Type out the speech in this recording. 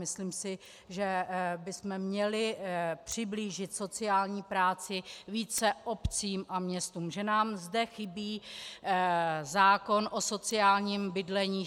Myslím si, že bychom měli přiblížit sociální práci více obcím a městům, že nám zde chybí zákon o sociálním bydlení.